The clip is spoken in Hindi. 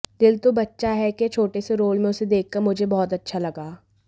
दिल तो बच्चा है के छोटे से रोल में उसे देखकर मुझे बहुत अच्छा लगा